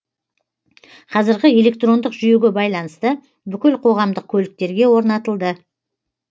қазіргі электрондық жүйеге байланысты бүкіл қоғамдық көліктерге орнатылды